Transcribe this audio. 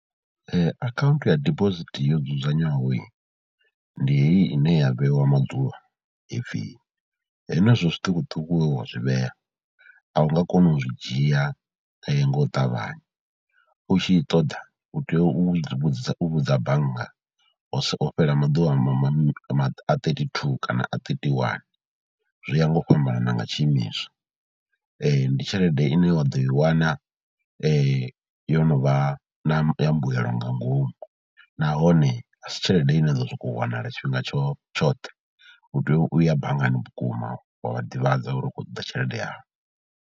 Akhaunthu ya dibosithi yo dzudzanywaho ndi heyi ine ya vheiwa maḓuvha, he pfhi henezwo zwiṱukuṱuku we wa zwi vhea a u nga koni u zwi dzhia nga u ṱavhanya, u tshi ṱoḓa u tea u vhudzisa u vhudza bannga musi ho fhela maḓuvha a ma a thirty two kana a thirty one. Zwi ya nga u fhambanana nga tshiimiswa, ndi tshelede ine wa ḓo i wana yo no vha na mbuelo nga ngomu nahone a si tshelede ine ya ḓo sokou wanala tshifhinga tshoṱhe, u tea u ya banngani vhukuma wa vha ḓivhadza uri u kho ṱoḓa tshelede yau.